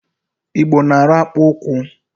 Igbo na-arụ akpụụkwụ.